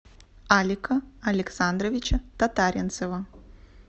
алика александровича татаринцева